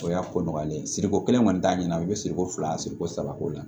O y'a ko nɔgɔlen ye siriko kelen kɔni t'a ɲɛna i bɛ siriko fila siriko saba ko la